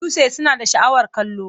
Duwatsu suna da sha'awar kallo.